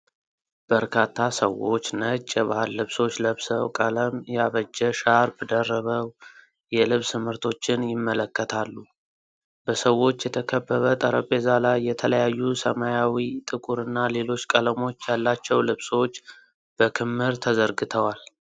በርካታ ሰዎች ነጭ የባህል ልብሶች ለብሰው፣ ቀለም ያበጀ ሻርፕ ደርበው የልብስ ምርቶችን ይመለከታሉ። በሰዎች የተከበበ ጠረጴዛ ላይ የተለያዩ ሰማያዊ፣ ጥቁርና ሌሎች ቀለሞች ያላቸው ልብሶች በክምር ተዘርግተዋል።